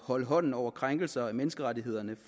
holde hånden over krænkelser af menneskerettighederne